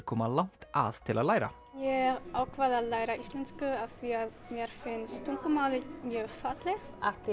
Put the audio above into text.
koma langt að til að læra ég ákvað að læra íslensku af því að mér finnst tungumálið mjög fallegt